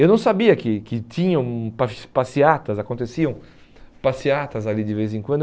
Eu não sabia que que tinham pas passeatas, aconteciam passeatas ali de vez em quando.